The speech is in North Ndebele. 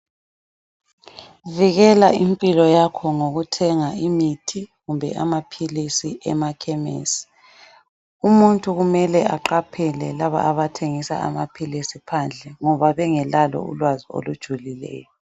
Vikela impilo yakho ngokuthenga imithi kumbe amaphilisi emakhemisi umuntu kumele aqaphele laba abathengisa amaphilisi phandle ngoba bengelalo ulwazi olujulileyo.